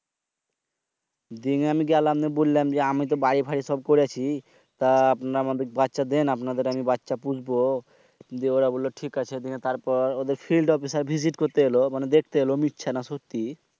দিনে আমি গেলাম বইলাম আমিতো বাড়ি দাড়ি সব করিছি। তা আপনারা আমাকে বাইচ্চা দেন আপনাদের আমি বাইচ্চা ফুসবো। যে ওরা বলল ঠিক আছে। তারপর ওদের Fild officer visit করতে এলো। মানি দেখতে এলো মিথ্যে না সত্যি